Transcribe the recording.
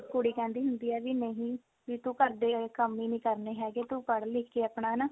ਕੁੜੀ ਕਹਿੰਦੀ ਹੁੰਦੀ ਆ ਵੀ ਨਹੀਂ ਵੀ ਤੂੰ ਘਰ ਦੇ ਕੰਮ ਹੀ ਨਹੀਂ ਕਰਨੇ ਹੈਗੇ ਤੂੰ ਪੜ੍ਹ ਲਿਖ ਕੇ ਆਪਣਾ ਨਾ